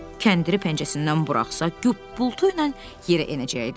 Kəndiri pəncəsindən buraxsa, güppultu ilə yerə enəcəkdi.